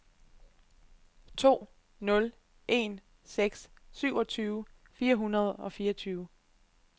to nul en seks syvogtyve fire hundrede og fireogtyve